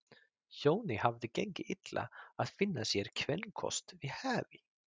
Jóni hafði gengið illa að finna sér kvenkost við hæfi.